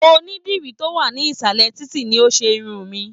Onídìrí to wa nisalẹ títí ni o se Irun mí.